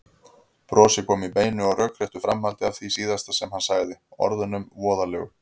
Brosið kom í beinu og rökréttu framhaldi af því síðasta sem hann sagði, orðunum voðalegu.